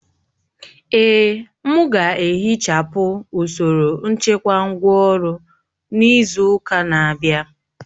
Èè, m ga-ehichapụ usoro nchekwa ngwá ọrụ n'izu ụka na-abịa